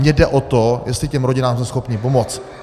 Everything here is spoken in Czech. Mně jde o to, jestli těm rodinám jsme schopni pomoci.